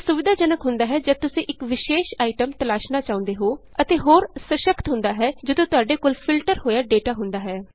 ਇਹ ਸੁਵਿਧਾਜਨਕ ਹੁੰਦਾ ਹੈ ਜਦ ਤੁਸੀਂ ਇਕ ਵਿਸ਼ੇਸ਼ ਆਈਟਮ ਤਲਾਸ਼ਣਾ ਚਾਹੁੰਦੇ ਹੋ ਅਤੇ ਹੋਰ ਸਸ਼ੱਕਤ ਹੁੰਦਾ ਹੈ ਜਦ ਤੁਹਾਡੇ ਕੋਲ ਫਿਲਟਰ ਹੋਇਆ ਡੇਟਾ ਹੁੰਦਾ ਹੈ